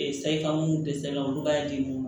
Ee sayi kan mun tɛ sɛbɛn olu b'a di u ma